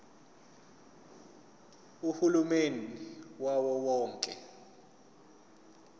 uhulumeni wawo wonke